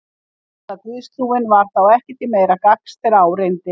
Gamla guðstrúin var þá ekki til meira gagns þegar á reyndi.